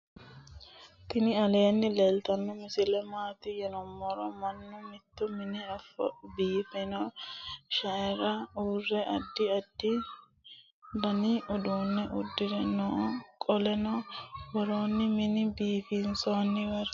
tini aleni leltano misile mati yinumoro maanu mitto mine befano shaera ure addi addi danni uduune udire noo qoleno woluri mine bifisawori noo